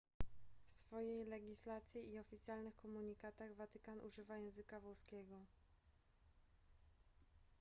w swojej legislacji i oficjalnych komunikatach watykan używa języka włoskiego